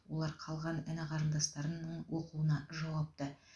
олар қалған іні қарындастарының оқуына жауапты